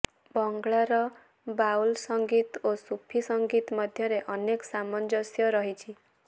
ବଙ୍ଗଳାର ବାଉଲ୍ ସଙ୍ଗୀତ ଓ ସୁଫି ସଙ୍ଗୀତ ମଧ୍ୟରେ ଅନେକ ସାମଞ୍ଜସ୍ୟ ରହିଛି